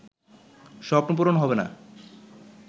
স্বপ্ন পূরণ হবে না